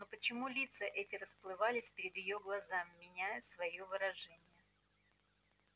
но почему лица эти расплывались перед её глазами меняя своё выражение